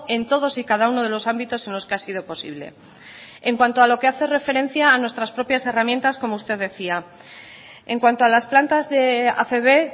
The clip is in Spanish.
en todos y cada uno de los ámbitos en los que ha sido posible en cuanto a lo que hace referencia a nuestras propias herramientas como usted decía en cuanto a las plantas de acb